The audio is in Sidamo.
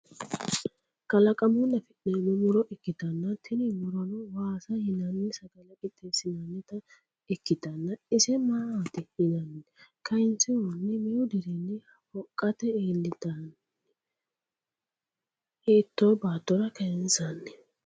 Kalaqamunni afi'neemmo muro ikkitana tini murono waasa yinanni sagale qixeesinnannita ikkitanna ise maat yiinaanni? kaynsihunni meu dirinni hoqqate iillitani? hitto baattora kayinsanni?